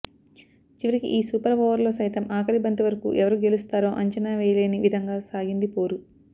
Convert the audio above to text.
చివరికి ఈ సూపర్ ఓవర్లో సైతం ఆఖరి బంతి వరకూ ఎవరు గెలుస్తారో అంచనా వేయలేని విధంగా సాగింది పోరు